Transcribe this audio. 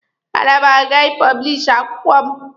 A na m aga ị pọblishi akwụkwọ m.